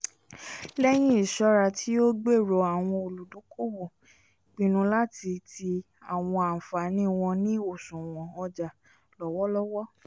lẹyìn iṣọra tíó gbèrò àwọn oludokoowo pinnu láti tii àwọn ànfàní wọn ni òṣùwọ̀n ọja lọwọlọwọ